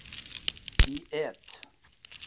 Í et.